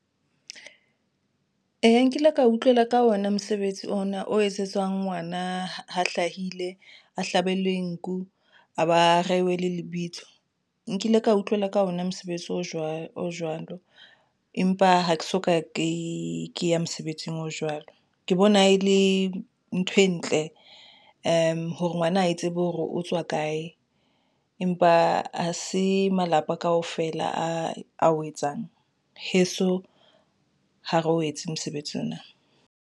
Eya, nkile ka utlwela ka ona mosebetsi ona o etsetswang ngwana ha hlahile a hlabelwe nku a ba rehwe le lebitso, nkile ka utlwela ka ona mosebetsi o jwalo jwalo. Empa ha ke soka ke ke ya mosebetsing o jwalo. Ke bona e le ntho e ntle hore ngwana a tsebe hore otswa kae, empa ha se malapa kaofela a o etsang heso ha re o etse mosebetsi ona na.